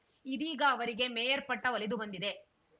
ಇದೀಗ ಅವರಿಗೆ ಮೇಯರ್‌ ಪಟ್ಟಒಲಿದು ಬಂದಿದೆ